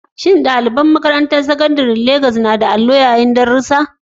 Shin ɗalibai a Makarantar Sakandare ta Legas suna amfani da allo mai ma'amala yayin darussa?